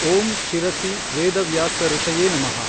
ಓಂ ಶಿರಸಿ ವೇದವ್ಯಾಸಋಷಯೆ ನಮಃ।